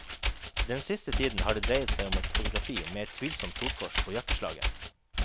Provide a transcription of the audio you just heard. Den siste tiden har det dreiet seg om et fotografi med et tvilsomt solkors på jakkeslaget.